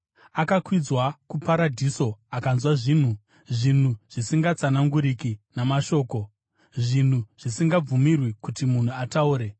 akakwidzwa kuparadhiso. Akanzwa zvinhu, zvinhu zvisingatsananguriki namashoko, zvinhu zvisingabvumirwi kuti munhu ataure.